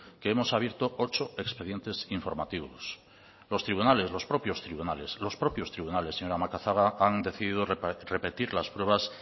que hemos abierto ocho expedientes informativos los tribunales señora macazaga han decidido repetir las pruebas